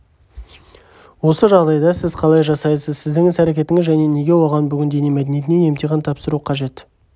осы жағдайда сіз қалай жасайсыз сіздің іс-әрекетіңіз және неге оған бүгін дене мәдениетінен емтихан тапсыру қажет